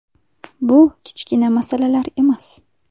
Bu kichkina masalalar emas.